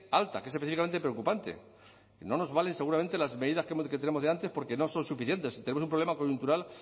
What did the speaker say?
alta que es específicamente preocupante que no nos valen seguramente las medidas que tenemos delante porque no son suficientes tenemos un problema coyuntural